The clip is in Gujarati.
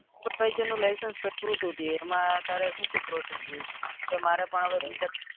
superviser license કાધ્વ્યું હતું તે એમાં તારે શું શું process કે મારે પણ હવે btech